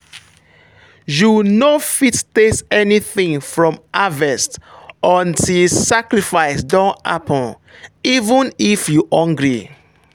you no fit taste anything from harvest until sacrifice don happen—even if you hungry.